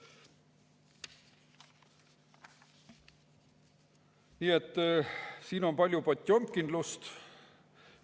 Nii et siin on palju potjomkinlust.